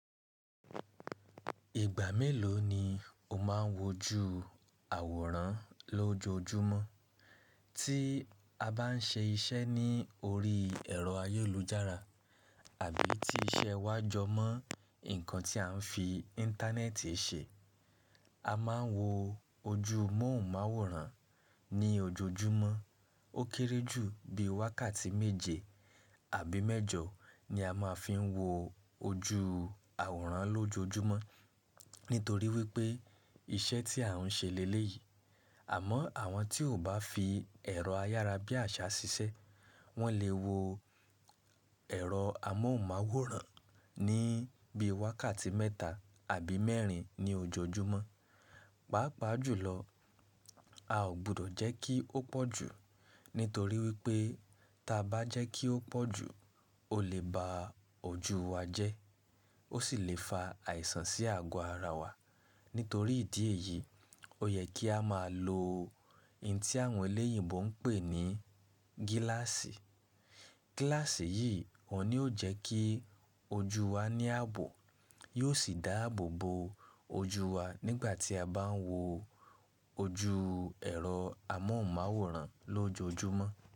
Ìgbà mélòó ni o máa ń wo ju àwòrán lójoojúmọ́? Tí a bá n ṣe iṣẹ́ ní orí ẹ̀rọ ayélujára àbí ti iṣẹ́ wa jọmọ́ nǹkan tí a n fi íńtánẹ́ẹ̀tì ṣe, a máa n wo ojú mọ́ùmáwòrán ní ojoojúmọ́. Ó kéré jù bí wákàtí méje àbí mẹ́jọ ni a máa fi n wo ojú àwòrán lójoojúmọ́ nítorí wípé iṣẹ́ tí à ń ṣe léyìí. Àmọ́ àwọn tí ò bá fi ẹ̀rọ ayára bí àṣá ṣiṣẹ́, wọ́n lè wo ẹ̀rọ amọ́máwòrán ní bí i wákàtí mẹ́ta àbí mẹ́rin ní ojoojúmọ́. Pàápàá jùlọ, a ò gbọdọ̀ jẹ́ kí ó pọ̀ jù, nítorí wípé tí a bá jẹ́ kí ó pọ̀ jù, ó lè ba ojú wa jẹ́, ó sì lè fa àìsàn sí ago ara wa. Nítorí ìdí èyí, ó yẹ kí a máa lo ohun tí àwọn elẹ́yìnbo ń pè ní gíláàsì. Gíláàsì yìí ò ní ó jẹ́ kí ojú wa ní ààbò, yóò sì dáàbò bo ojú wa nígbà tí a bá ń wo ojú ẹ̀rọ amọ́máwòrán lójoojúmọ́